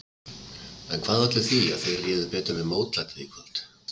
En hvað olli því að þeir réðu betur við mótlætið í kvöld?